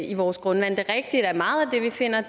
i vores grundvand det er rigtigt at meget af det vi finder